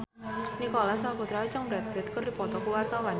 Nicholas Saputra jeung Brad Pitt keur dipoto ku wartawan